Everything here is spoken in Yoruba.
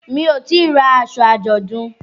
Mi ò tíì ra aṣọ àjọ̀dún.